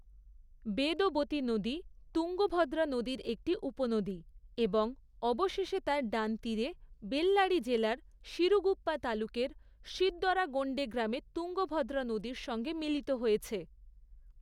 বেদবতী নদী তুঙ্গভদ্রা নদীর একটি উপনদী, এবং অবশেষে তার ডান তীরে বেল্লারি জেলার সিরুগুপ্পা তালুকের সিদ্দরাগোন্ডে গ্রামে তুঙ্গভদ্রা নদীর সঙ্গে মিলিত হয়েছে।